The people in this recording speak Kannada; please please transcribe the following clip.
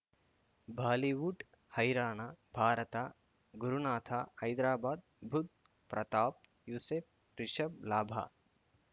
ಬಾಲಿವುಡ್ ಹೈರಾಣ ಭಾರತ ಗುರುನಾಥ ಹೈದರಾಬಾದ್ ಬುಧ್ ಪ್ರತಾಪ್ ಯೂಸುಫ್ ರಿಷಬ್ ಲಾಭ